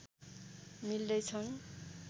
मिल्दै छन्